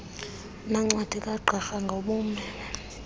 nencwadi kagqirha ngobume